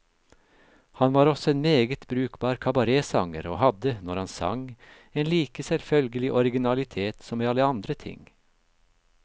Han var også en meget brukbar kabaretsanger, og hadde, når han sang, en like selvfølgelig originalitet som i alle andre ting.